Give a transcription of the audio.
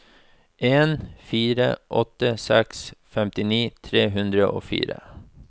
en fire åtte seks femtini tre hundre og fire